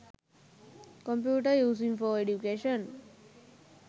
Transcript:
computer using for education